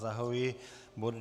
Zahajuji bod